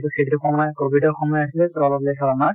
সেইটো সময় কভিদৰ সময় আছিলে probably চব আমাৰ।